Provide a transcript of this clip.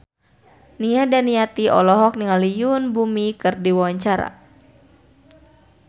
Nia Daniati olohok ningali Yoon Bomi keur diwawancara